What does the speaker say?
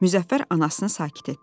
Müzəffər anasını sakit etdi.